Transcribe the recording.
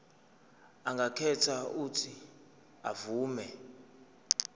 angakhetha uuthi avume